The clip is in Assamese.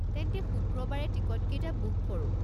তেন্তে শুক্ৰবাৰে টিকটকেইটা বুক কৰো?